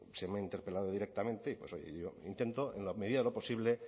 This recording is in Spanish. se me ha interpelado directamente y pues oye yo intento en la medida de lo posible